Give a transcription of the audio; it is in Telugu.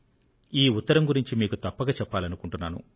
ఈ ఉత్తరం గురించి మీకు తప్పక చెప్పాలనుకుంటున్నాను